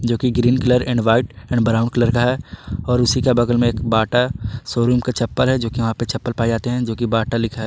जो कि green colour and white और ब्राउन कलर का है और उसी का बगल में एक बाटा शोरूम का चप्पल है जो की वहां पे चप्पल पाए जाते हैं जो की बाटा लिखा।